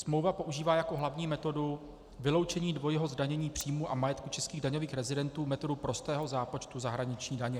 Smlouva používá jako hlavní metodu vyloučení dvojího zdanění příjmů a majetku českých daňových rezidentů metodu prostého zápočtu zahraniční daně.